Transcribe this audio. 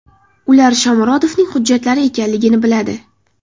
Ular Shomurodovning hujjatlari ekanligini biladi.